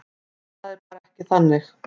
Það er bara ekki þannig.